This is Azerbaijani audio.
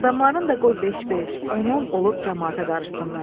Adamların da qoy beş-beş, on-on olub camaata qarışsınlar.